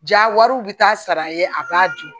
Ja wariw bi taa sara ye a b'a dun